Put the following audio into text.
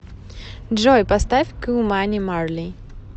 джой поставь ку мани марли